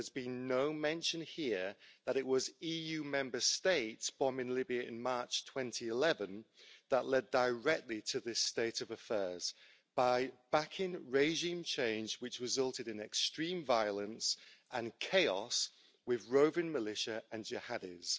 But there's been no mention here that it was EU Member States bombing Libya in March 2011 that led directly to this state of affairs by backing regime change which resulted in extreme violence and chaos, with roving militia and jihadis.